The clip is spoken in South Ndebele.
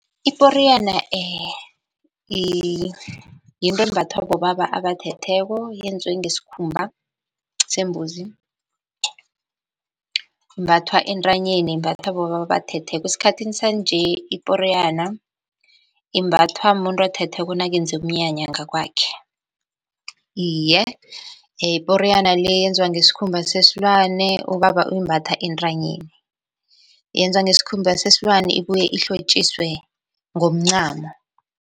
Iporiyana yinto embathwa bobaba abathetheko yenzwe ngesikhumba sembuzi, imbathwa entanyeni, imbathwa bobaba abathetheko. Esikhathini sanje iporiyana imbathwa mumuntu othetheko nakenze umnyanya ngakwakhe. Iye, iporiyana le yenziwa ngesikhumba sesilwane, ubaba uyimbatha entanyeni, yenzwa ngesikhumba sesilwane ibuye ihlotjiswe ngomncamo.